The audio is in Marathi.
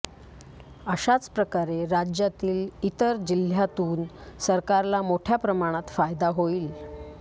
अशाच प्रकारे राज्यातील इतर जिल्ह्यातून सरकारला मोठ्या प्रमाणात फायदा होईल